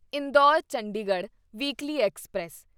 Indore Chandigarh weekly express